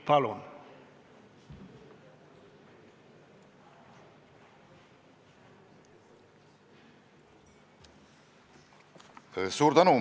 Palun!